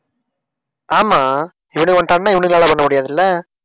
ஆமா இவனுங்க வந்துட்டான்னா, இவனுங்களால பண்ண முடியாது இல்ல?